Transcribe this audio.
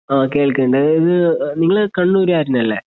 ആ കേൾക്കണ്ട് ഇത് നിങ്ങള് കണ്ണൂര്കാരനല്ലേ?